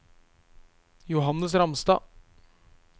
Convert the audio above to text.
Johannes Ramstad